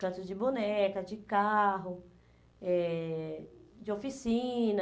Cantos de boneca, de carro, eh de oficina.